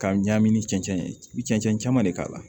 Ka ɲagami cɛncɛn ye i bɛ cɛnɛn caman de k'a la